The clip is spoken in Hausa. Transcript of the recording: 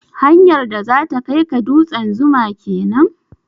Hanyar da zata kai ka dutsen 'Zuma' kenan?